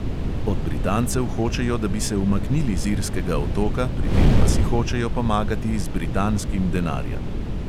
Od britancev hočejo, da bi se umaknili z irskega otoka, pri tem pa si hočejo pomagati z britanskim denarjem.